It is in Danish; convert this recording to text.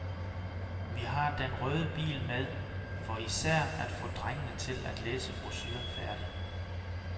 Vi har den røde bil med, for især at få drengene til at læse brochuren færdig.